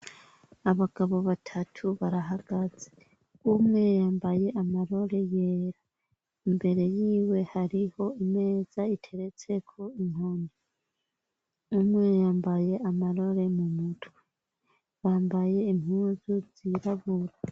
Abagabo batatu barahagaze. Umwe yambaye amarori yera, imbere yiwe hariho imeza iteretseko inkoni, umwe yambaye amarori mu mutwe, bambaye impuzu zirabura.